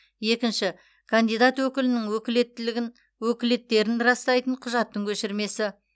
екінші кандидат өкілінің өкілеттерін растайтын құжаттың көшірмесі